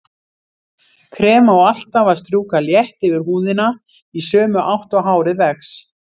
Krem á alltaf að strjúka létt yfir húðina í sömu átt og hárið vex.